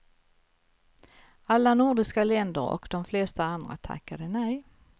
Alla nordiska länder och de flesta andra tackade nej.